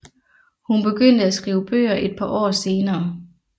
Hun begyndte at skrive bøger et par år senere